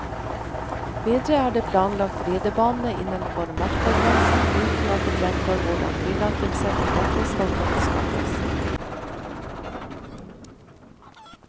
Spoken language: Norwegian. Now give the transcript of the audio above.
Videre er det planlagt ridebane innenfor markagrensen, uten at det fremgår hvordan tillatelse til dette skal kunne skaffes.